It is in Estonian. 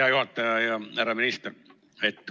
Hea juhataja ja härra minister!